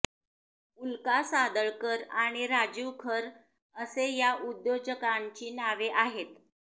उल्का सादळकर आणि राजीव खर असे या उद्योजकांची नावे आहेत